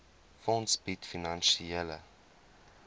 fonds bied finansiële